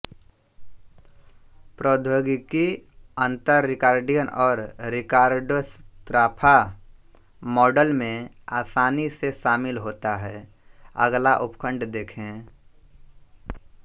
प्रौद्योगिकी अंतर रिकार्डियन और रिकार्डोस्राफा मॉडल में आसानी से शामिल होता है अगला उपखंड देखें